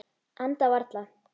Anda varla.